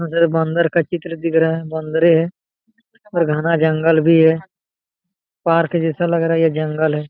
बन्दर का चित्र दिख रहा हैबंदरे है और घना जंगल भी है पार्क जैसा लग रहा है ये जंगल है|